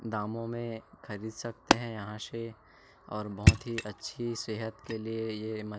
दामों में खरीद सकते है यहाँ से और बोहोत ही अच्छी सेहत के लिए ये मछ --